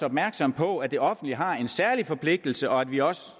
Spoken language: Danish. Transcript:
opmærksom på at det offentlige har en særlig forpligtelse og at vi også